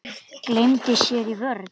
Gleymdi sér í vörn.